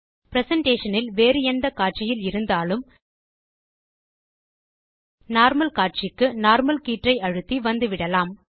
presentation இல் வேறு எந்த காட்சியில் இருந்தாலும் நார்மல் காட்சிக்கு நார்மல் கீற்றை அழுத்தி வந்துவிடலாம்